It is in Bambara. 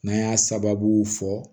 N'an y'a sababu fɔ